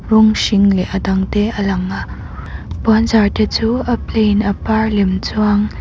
rawng hring leh a dangte a lang a puanzar te chu a plain a par lem chuang.